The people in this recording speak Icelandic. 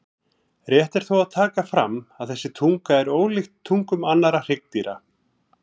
Rétt er þó að taka fram að þessi tunga er ólíkt tungum annarra hryggdýra.